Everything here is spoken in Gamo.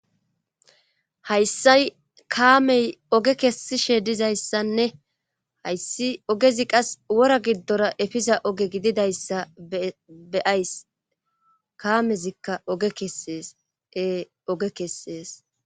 Hayssay kaamey oge kessishe dizayssanne hayssi ogezi qas wora giddora efiza oge gididayssa beays kaamezikka oge keseesee oge kessees.